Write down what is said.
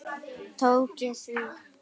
Tók ég því?